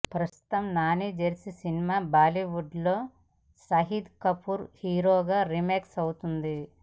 ప్రస్తుతం Nani Jersey cinema Bollywood లో షాహిద్ కపూర్ హీరోగా రీమేక్ అవుతుంది